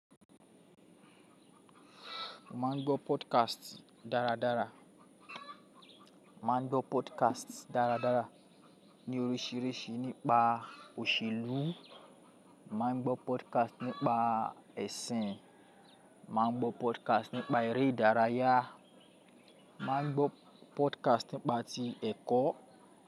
Mo maa n gbọ́ podcast dáradára. Mo maá n gbọ́ podcast dáradára ní oríṣìíríṣìí nípa òṣèlú, mo ma n gbọ́ podcast nípa ẹ̀sìn, mo maa n gbọ́ podcast nípa eré ìdárayá, mo maa n gbọ́ podcast nípa ti ẹ̀kọ́